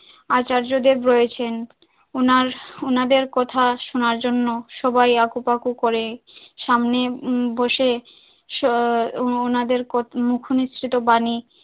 আচার্য দেব রয়েছেন উনার উনাদের কথা শোনার জন্য সবাই আপু বাপু করে সামনে বসে আহ উনাদের মুখনিঃসৃত বাণী